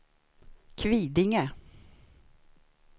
Kvidinge